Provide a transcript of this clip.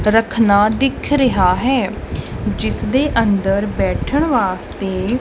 ਰਖਨਾ ਦਿੱਖ ਰਿਹਾ ਹੈ ਜਿਸ ਦੇ ਅੰਦਰ ਬੈਠਣ ਵਾਸਤੇ --